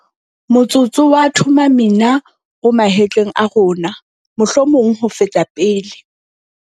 Motsotso wa Thuma Mina o mahetleng a rona, mohlomong ho feta pele.